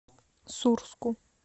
сурску